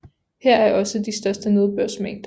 Her er også de største nedbørsmængder